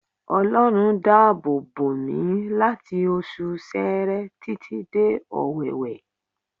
Ọlọ́run dá àbò bòmí láti oṣù Seere títí dé Ọwẹ́wẹ